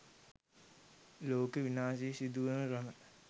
ලෝක විනාශය සිදුවන ක්‍රම